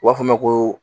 U b'a fɔ a ma ko